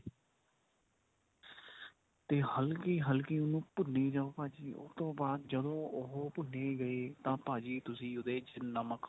ਤੇ ਹਲਕੀ ਹਲਕੀ ਉਹਨੂੰ ਭੁੰਨੀ ਜਾਓ ਭਾਜੀ ਉਸ ਤੋਂ ਬਾਅਦ ਜਦੋਂ ਉਹ ਭੁੰਨੀ ਗਈ ਤਾਂ ਭਾਜੀ ਤੁਸੀਂ ਉਹਦੇ ਚ ਨਮਕ